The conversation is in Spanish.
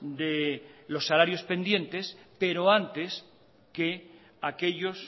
de los salarios pendientes pero antes que aquellos